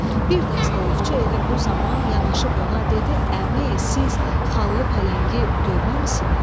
Bir dəst ovçu elə bu zaman yanaşıb ona dedi: əmi, siz xallı pələngi görməmisiniz?